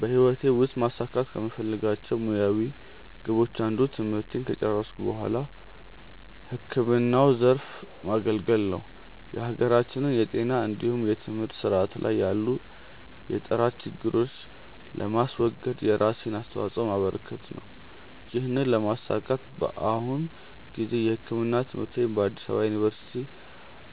በህይወቴ ውስጥ ማሳካት ከምፈልጋቸው ሙያዊ ግቦች አንዱ ትምህርቴን ከጨረስኩ በኋላ ህክምናው ዘርፍ ማገልገል እና የሀገራችንን የጤና እንዲሁም የትምህርት ስርዓት ላይ ያሉ የጥራት ችግሮችን ለማስወገድ የራሴን አስተዋጾ ማበረከት ነው። ይህንን ለማሳካት በአሁኑ ጊዜ የህክምና ትምህርትን በአዲስ አበባ ዩኒቨርሲቲ